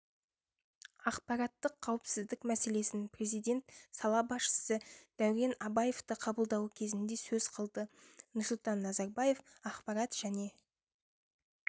ақпараттық қауіпсіздік мәселесін президент сала басшысы дәурен абаевты қабылдауы кезінде сөз қылды нұрсұлтан назарбаев ақпарат және